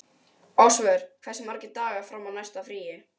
Ásvör, hversu margir dagar fram að næsta fríi?